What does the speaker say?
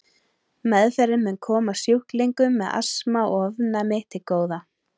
Meðferðin mun koma sjúklingum með astma og ofnæmi til góða.